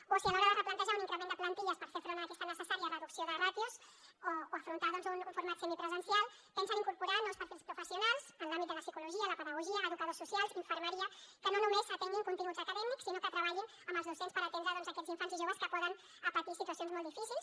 o si a l’hora de replantejar un increment de plantilles per fer front a aquesta necessària reducció de ràtios o afrontar un format semipresencial pensen incorporar nous perfils professionals en l’àmbit de la psicologia la pedagogia educadors socials infermeria que no només atenguin continguts acadèmics sinó que treballin amb els docents per atendre doncs aquests infants i joves que poden patir situacions molt difícils